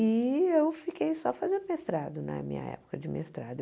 E eu fiquei só fazendo mestrado na minha época de mestrado.